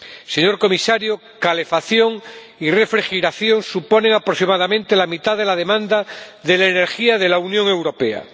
Señor Comisario, calefacción y refrigeración suponen aproximadamente la mitad de la demanda de la energía de la Unión Europea